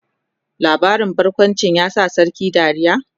labarin barkawncin ya sa sarkin dariya?